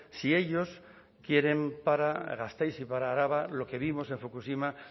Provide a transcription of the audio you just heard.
sí ellos quieren para gasteiz y para araba lo que vimos en fukushima